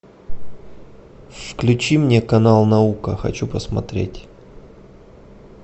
включи мне канал наука хочу посмотреть